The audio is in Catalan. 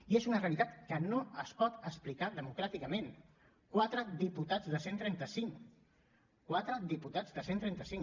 i és una realitat que no es pot explicar democràticament quatre diputats de cent i trenta cinc quatre diputats de cent i trenta cinc